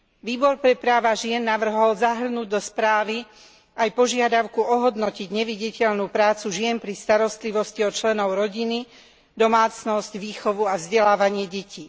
Výbor pre práva žien navrhol zahrnúť do správy aj požiadavku ohodnotiť neviditeľnú prácu žien pri starostlivosti o členov rodiny, domácnosť, výchovu a vzdelávanie detí.